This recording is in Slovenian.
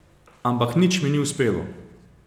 Ampak nič mi ni uspelo.